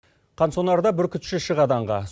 қан сонарда бүркітші шығады аңға